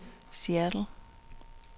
Seattle